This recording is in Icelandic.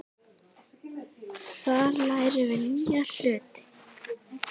Þar lærum við nýja hluti.